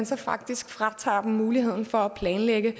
så faktisk fratager dem muligheden for at planlægge